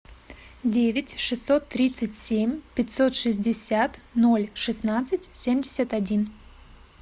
девять шестьсот тридцать семь пятьсот шестьдесят ноль шестнадцать семьдесят один